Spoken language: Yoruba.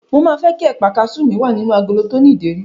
Mo máa fẹ́ kí ẹ̀pà kasú mi wà nínú agolo tó ní ìdérí.